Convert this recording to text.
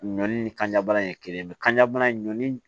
Ɲɔ ni kanjabana in ye kelen ye kanjabana in ɲɔnni